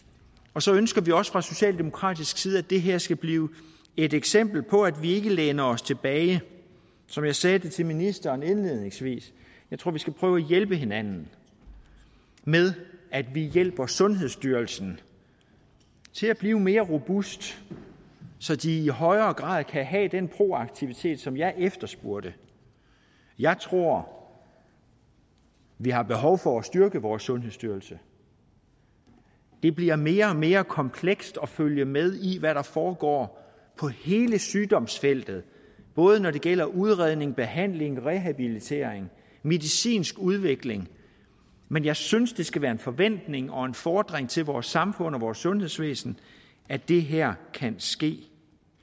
og så ønsker vi også fra socialdemokratisk side at det her skal blive et eksempel på at vi ikke læner os tilbage som jeg sagde til ministeren indledningsvis jeg tror vi skal prøve at hjælpe hinanden med at vi hjælper sundhedsstyrelsen til at blive mere robust så de i højere grad kan have den proaktivitet som jeg efterspurgte jeg tror vi har behov for at styrke vores sundhedsstyrelse det bliver mere og mere komplekst at følge med i hvad der foregår på hele sygdomsfeltet både når det gælder udredning behandling rehabilitering og medicinsk udvikling men jeg synes det skal være en forventning og en fordring til vores samfund og vores sundhedsvæsen at det her kan ske